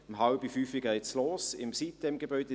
Um 16.30 Uhr geht es los im Sitem-Gebäude.